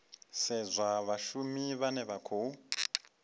sedzwa vhashumi vhane vha khou